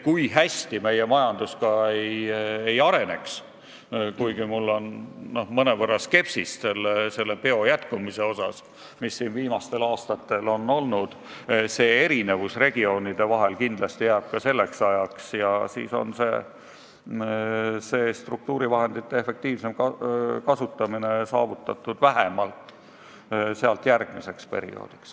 Kui hästi meie majandus ka ei areneks – olen küll mõnevõrra skeptiline selle peo jätkumise osas, mis siin viimastel aastatel on olnud –, see erinevus regioonide vahel kindlasti jääb ka selleks ajaks ja siis on struktuurivahendite efektiivsem kasutamine saavutatud vähemalt järgmiseks perioodiks.